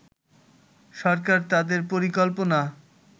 সরকার তাদের পরিকল্পনা